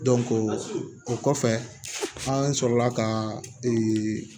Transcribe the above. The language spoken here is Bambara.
o kɔfɛ an sɔrɔla ka ee